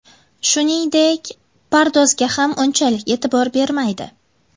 Shuningdek, pardozga ham unchalik e’tibor bermaydi.